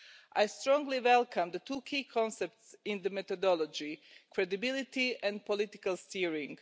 I strongly welcome the two key concepts in the methodology credibility and political steering.